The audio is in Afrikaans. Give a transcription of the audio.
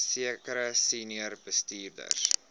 sekere senior bestuurders